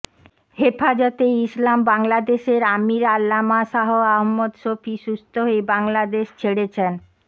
হেফাজতে ইসলাম বাংলাদেশের আমির আল্লামা শাহ আহমদ শফী সুস্থ হয়ে হাসপাতাল ছেড়েছেন